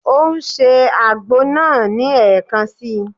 Ó ń se àgbo náà ní ẹ̀kan si.